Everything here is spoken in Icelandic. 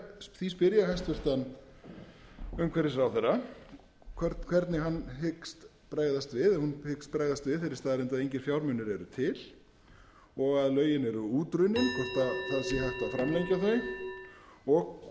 því spyr ég hæstvirtur umhverfisráðherra hvernig hún hyggst bregðast við þeirri staðreynd að engir fjármunir eru til og að lögin eru útrunninn hvort það sé hægt að framlengja þau